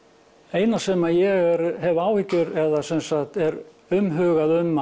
eina sem ég hef áhyggjur eða sem sagt er umhugað um